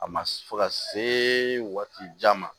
A ma fo ka se waati jan ma